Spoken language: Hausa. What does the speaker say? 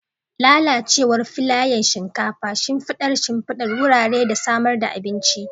Lalacewar filayen shinkafa, shimfidar shimfidar wurare da samar da abinci.